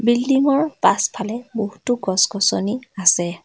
বিল্ডিঙৰ পাছফালে বহুতো গছ-গছনি আছে।